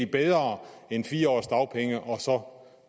bedre end fire års dagpenge og så